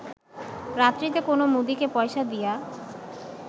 রাত্রিতে কোন মুদীকে পয়সা দিয়া